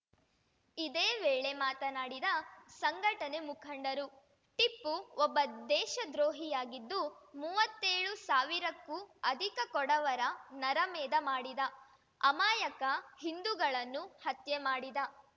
ಇದೇ ವೇಳೆ ಮಾತನಾಡಿದ ಸಂಘಟನೆ ಮುಖಂಡರು ಟಿಪ್ಪು ಒಬ್ಬ ದೇಶ ದ್ರೋಹಿಯಾಗಿದ್ದು ಮೂವತ್ತೇಳು ಸಾವಿರಕ್ಕೂ ಅಧಿಕ ಕೊಡವರ ನರಮೇಧ ಮಾಡಿದ ಅಮಾಯಕ ಹಿಂದುಗಳನ್ನು ಹತ್ಯೆ ಮಾಡಿದ